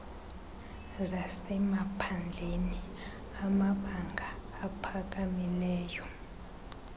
zasemaphandleni amabanga aphakamileyo